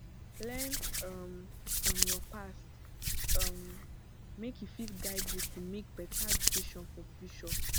learn um from yur past um mek e fit guide yu to mek beta decision for future